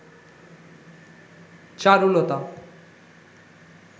Charulata